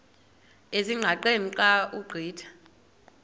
ezingqaqeni xa ugqitha